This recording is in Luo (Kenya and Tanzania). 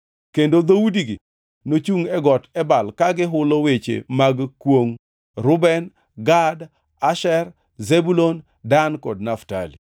Kendo dhoudigi nochungʼ e Got Ebal ka gihulo weche mag kwongʼ: Reuben, Gad, Asher, Zebulun, Dan kod Naftali.